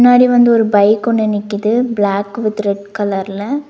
முன்னாடி வந்து ஒரு பைக் ஒன்னு நிக்குது பிளாக் வித் ரெட் கலர்ல .